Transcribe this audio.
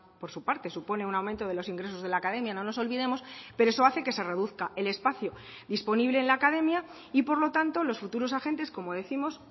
por su parte supone un aumento de los ingresos de la academia no nos olvidemos pero eso hace que se reduzca el espacio disponible en la academia y por lo tanto los futuros agentes como décimos